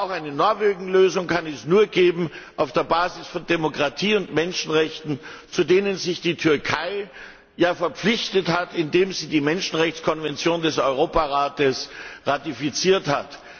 Aber auch eine Norwegen Lösung kann es nur geben auf der Basis von Demokratie und Menschenrechten, zu denen sich die Türkei ja verpflichtet hat, indem sie die Menschenrechtskonvention des Europarates ratifiziert hat.